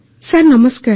Aparna sir ନମସ୍କାର